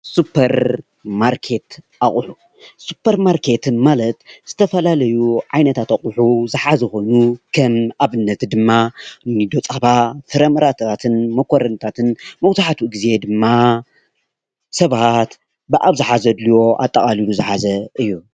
ሱፐር ማርኬት ኣቅሑ ሱፐርማርኬት ማለት ዝተፈላለዩ ዓይነታት አቅሑ ዝሓዘ ኮይኑ፣ ከም ኣብነት ድማ ከም ፀባ፣ ፍረምረታትን መኮረንታትን መብዛሕትኡ ግዜ ድማ ሰባት ብኣብዝሓ ዘድልዮ ኣጠቃሊሉ ዝሓዘ እዩ፡፡